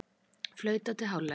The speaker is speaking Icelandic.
Flautað til hálfleiks